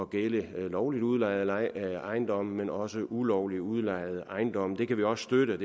gælde lovligt udlejede ejendomme men også ulovligt udlejede ejendomme det kan vi også støtte